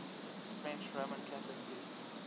french roman catholic priests